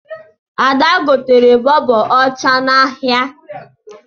Ada gotere bọọbụ ọcha n'ahịa